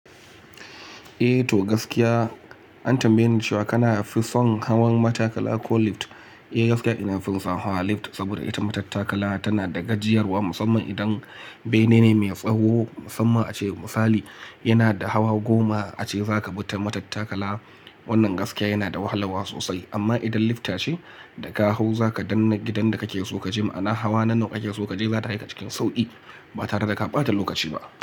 Eh to gaskiya an tambaye ni cewa kana fison hawan matattakala ko lift. Eh gaskiya ina fison hawa lift saboda ita matattakala tana da gajiyarwa musamman idan bene ne mai tsawo musamman ace misali yana da hawa goma ace za ka bi ta matattakala wannan gaskiya yana da wahalawa sosai amma idan liftta ce da ka hau za ka dannna gidan da kake so kaje ma'ana hawa na nawa kake so kaje za ta kai ka cikin sauƙi ba tare da ka ɓata lokaci ba.